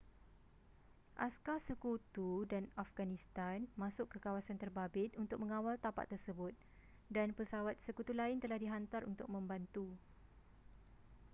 askar sekutu dan afghanistan masuk ke kawasan terbabit untuk mengawal tapak tersebut dan pesawat sekutu lain telah dihantar untuk membantu